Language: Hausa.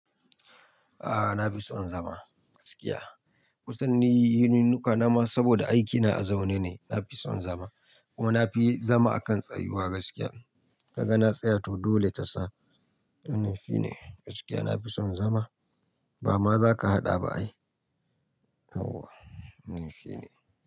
A'a na fi son zama gaskiya. Kusan ni yin yununuka na ma saboda aikina a zaune ne, na fi son zama. Ko na fi zama a kan tsayuwa gaskiya. Ka ga na tsaya to dole ta sa. Ni mai fi ne gaskiya na fi son zama. Ba ma za ka haɗa ba ai? Auwa ni fey.